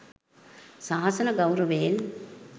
ශාසන ගෞරවයෙන්